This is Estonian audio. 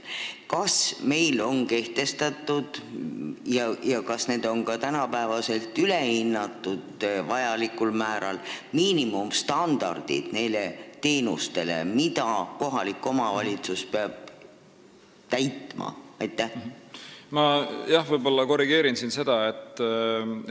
Kas meil on kehtestatud nende teenuste miinimumstandardid, mida kohalik omavalitsus peab täitma, ja kas need on ka tänapäeval vajalikul määral üle vaadatud?